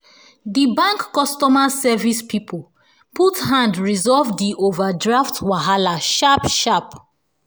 di bank customer service people put hand resolve the overdraft wahala sharp sharp